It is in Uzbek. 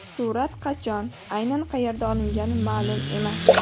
Surat qachon, aynan qayerda olingani ma’lum emas.